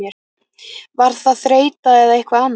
Var það þreyta eða eitthvað annað?